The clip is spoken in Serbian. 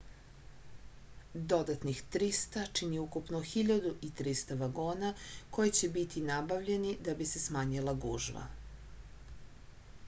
dodatnih 300 čini ukupno 1.300 vagona koji će biti nabavljeni da bi se smanjila gužva